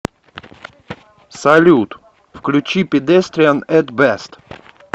салют включи педестриан эт бест